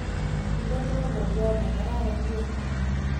Inoni ko ngolyot nekararan nia.